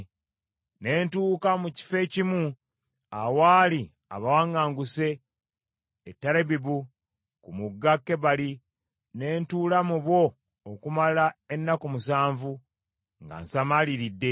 Ne ntuuka mu kifo ekimu awaali abawaŋŋanguse e Terabibu ku mugga Kebali, ne ntuula mu bo okumala ennaku musanvu, nga nsamaaliridde.